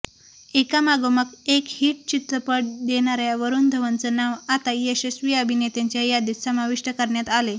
एकामागोमाग एक हिट चित्रपट देणाऱ्या वरूण धवनचं नाव आता यशस्वी अभिनेत्यांच्या यादीत समाविष्ट करण्यात आलंय